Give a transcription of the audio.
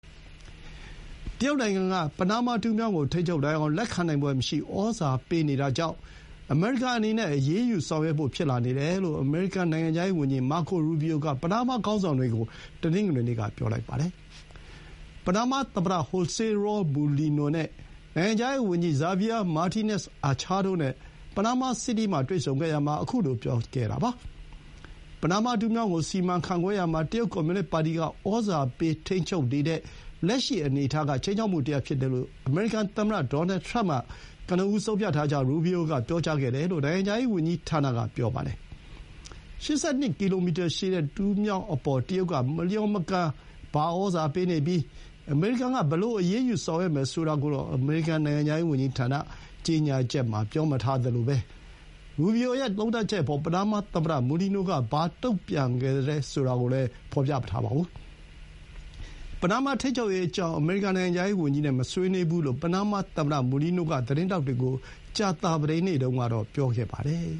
တရုတ်နိုင်ငံက ပနားမားတူးမြောင်းကို ထိန်းချုပ်ဖို့ လွှမ်းမိုးကြိုးပမ်းလာတာကြောင့် အမေရိကန်အနေနဲ့ အရေးယူဆောင်ရွက်ဖို့ ဖြစ်လာနေတယ်လို့ အမေရိကန် နိုင်ငံခြားရေး ဝန်ကြီး Marco Rubio က ပနားမား ခေါင်းဆောင်တွေကို တနင်္ဂနွေနေ့က ပြောလိုက်ပါတယ်။ ပနားမားသမ္မတ ဟိုးဆေး ရောလ် မူလီနို (José Raúl Mulino)၊ နိုင်ငံခြားရေးဝန်ကြီး Javier Martínez-Achaတို့နဲ့ ပနားမား စီတီးမှာ တွေ့ဆုံခဲ့ရာမှာ ခုလို ပြောခဲ့တာပါ။ ပနားမား တူးမြောင်းကို စီမံခန့်ခွဲရာမှာ တရုတ်ကွန်မြူနစ်ပါတီက ဩဇာပေး ထိန်းချုပ်နေတဲ့ လက်ရှိ အနေအထားက ခြိမ်းခြောက်မှုတရပ်ဖြစ်တယ်လို့ အမေရိကန် သမ္မတ ဒေါ်နယ်ထရမ့်က ကနဦး ဆုံးဖြတ်ထားကြောင်း ရူဘီအိုက ပြောကြားခဲ့တယ်လို့ နိုင်ငံခြားရေးဝန်ကြီးဌာနက ပြောပါတယ်။ ၈၂ ကီလိုမီတာရှည်တဲ့ တူးမြောင်းအပေါ် တရုတ်က မလျော်မကန် ဩဇာပေးနေပြီး အမေရိကန်က ဘယ်လို အရေးယူ ဆောင်ရွက်မယ် ဆိုတာကိုတော့ အမေရိကန် နိုင်ငံခြားရေးဝန်ကြီးဌာန ကြေညာချက်မှာ ပြောမထားသလို ရူဘီအိုရဲ့ သုံးသပ်ချက်အပေါ် ပနားမားသမ္မတ မူလီနိုက ဘာ တုန့်ပြန်ခဲ့သလဲ ဆိုတာကိုလည်း ဖော်ပြမထားပါဘူး။ ပနားမားတူးမြောင်း ထိန်းချုပ်ရေးအကြောင်း အမေရိကန် နိုင်ငံခြားရေးဝန်ကြီးနဲ့ မဆွေးနွေးဘူးလို့ ပနားမားသမ္မတ Mulino က သတင်းထောက်တွေကို ကြာသပတေးနေ့တုန်းကတော့ ပြောထားပါတယ်